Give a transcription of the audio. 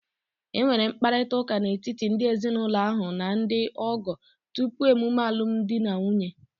E nwere mkparịta ụka n'etiti ndị ezinụlọ ahụ na ndị ọgọ tupu emume alumdi na nwunye.